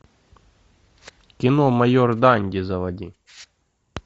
кино майор данди заводи